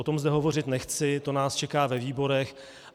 O tom zde hovořit nechci, to nás čeká ve výborech.